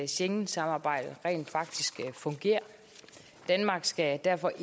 schengensamarbejdet rent faktisk fungerer danmark skal derfor